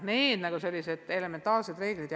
Need on sellised elementaarsed reeglid.